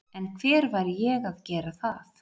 En hver væri ég að gera það?